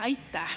Aitäh!